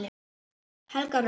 Helga Rut.